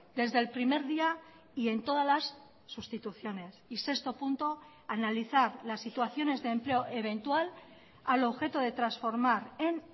desde el primer día y en todas las sustituciones y sexto punto analizar las situaciones de empleo eventual al objeto de transformar en